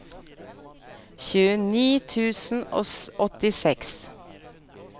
tjueni tusen og åttiseks